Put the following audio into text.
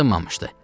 Sınmamışdı.